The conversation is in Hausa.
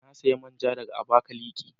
Na siya man ja daga Abakaliki.